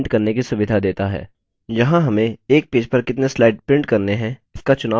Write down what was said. यहाँ हमें एक पेज पर कितने slides print करने हैं इसका चुनाव कर सकते हैं